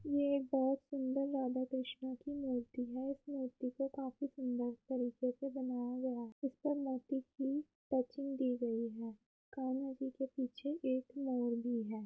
ये एक बहुत सुंदर राधा कृष्णा की मूर्ति है। इस मूर्ति को काफी सुंदर तरीके से बनाया गया है। इसमें मोती की टचिंग दी गयी है। कान्हा जी के पीछे एक मोर भी है।